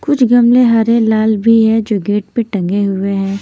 कुछ गमले हरे लाल भी है जो गेट पे टंगे हुए हैं।